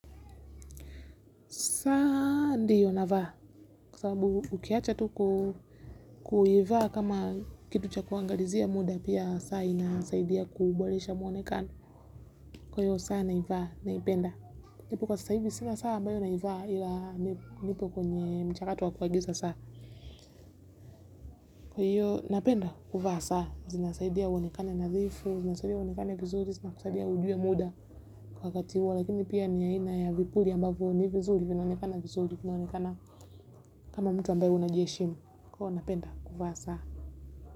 Saa ndio navaa kwa sababu ukiacha tu kuivaa kama kitu cha kuangalizia muda pia saa inasaidia kuboresha muonekano kwa hiyo saa naivaa naipenda. Nipo kwa sasa hivi sina saa ambayo naivaa ila nipo kwenye mchakato wa kuagiza saa. Kwa hiyo napenda kuvaa saa. Zinasaidia uonekane nadhzoifu, zinasaidia uonekane vizuri, zinakusaidia ujue muda kwa wakati huo lakini pia ni aina ya vipuli ambavyo ni vizuri vinaonekana vizuri vinaonekana kama mtu ambaye unajiheshimu. Kwa hiyo napenda kuvaa saa.